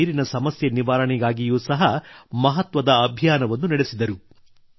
ಅವರು ನೀರಿನ ಸಮಸ್ಯೆ ನಿವಾರಣೆಗಾಗಿಯೂ ಸಹ ಮಹತ್ವದ ಅಭಿಯಾನವನ್ನು ನಡೆಸಿದರು